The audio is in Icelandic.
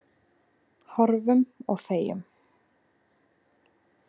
Horfum og þegjum.